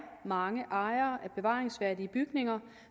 mange ejere af bevaringsværdige bygninger